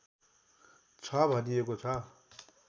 छ भनिएको छ